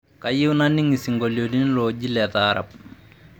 kayieu naining isinkolioti looji letaarabu